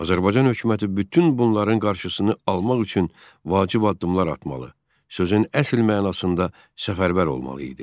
Azərbaycan hökuməti bütün bunların qarşısını almaq üçün vacib addımlar atmalı, sözün əsl mənasında səfərbər olmalı idi.